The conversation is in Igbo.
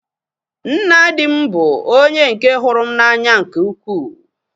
Nna di m bụ onye nke hụrụ m n'anya nke ukwuu